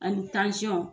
Ani